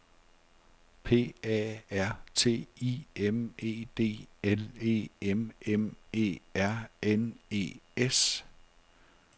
P A R T I M E D L E M M E R N E S